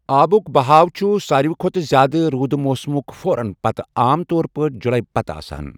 آبُک بہاؤ چھُ ساروی کھوتہٕ زیادٕ روٗدٕ موسمٕک فورن پتہٕ، عام طور پٲٹھۍ جولائی پتہٕ آسان۔